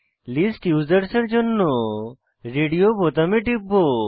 list users এর জন্য radio বোতামে টিপব